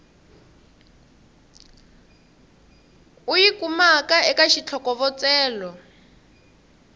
u yi kumaka eka xitlhokovetselo